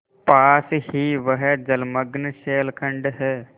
पास ही वह जलमग्न शैलखंड है